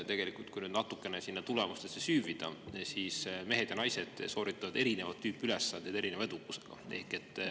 Tegelikult, kui natukene tulemustesse süüvida, siis mehed ja naised sooritavad erinevat tüüpi ülesandeid erineva edukusega.